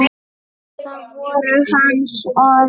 Það voru hans orð.